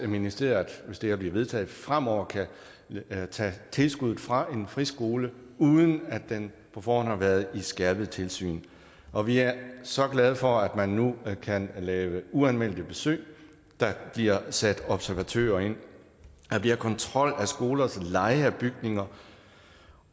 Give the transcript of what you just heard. ministeriet hvis det her bliver vedtaget fremover kan tage tilskuddet fra en friskole uden at den på forhånd har været skærpet tilsyn og vi er så glade for at man nu kan lave uanmeldte besøg og at der bliver sat observatører ind der bliver kontrol af skolers leje af bygninger